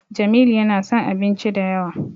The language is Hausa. Jamilu yana son abinci da yawa.